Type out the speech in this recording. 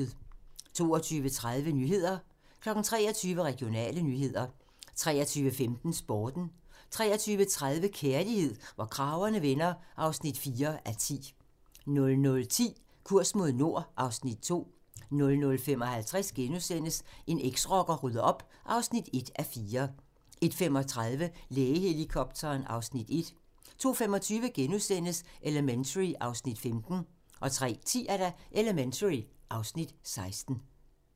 22:30: Nyhederne 23:00: Regionale nyheder 23:15: Sporten 23:30: Kærlighed, hvor kragerne vender (4:10) 00:10: Kurs mod nord (Afs. 2) 00:55: En eksrocker rydder op (1:4)* 01:35: Lægehelikopteren (Afs. 1) 02:25: Elementary (Afs. 15)* 03:10: Elementary (Afs. 16)